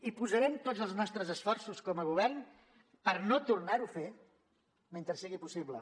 i posarem tots els nostres esforços com a govern per no tornar ho a fer mentre sigui possible